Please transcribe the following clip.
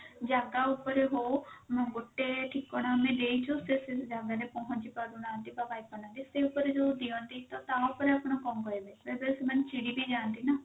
ଜାଗା ଉପରେ ହଉ ଗୋଟେ ଠିକଣା ଆମେ ଦେଇଛୁ ସେ ସେଇ ଜାଗା ରେ ପହଞ୍ଚିପାରୁନାହାନ୍ତି ବା ପାଇପାରୁନାହାନ୍ତି ସେ ଉପରେ ଯଉ ଦିଅନ୍ତି ତ ତା ଉପରେ ଆପଣ କଣ କହିବେ ବେଳେ ବେଳେ ସେମାନେ ଚିଡି ବି ଯାଆନ୍ତି ନା